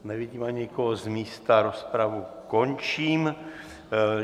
Nevidím ani nikoho z místa, rozpravu končím.